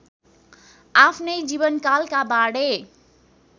आफ्नै जीवनकालका बाँडे